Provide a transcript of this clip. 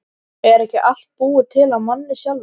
Er ekki allt búið til af manni sjálfum?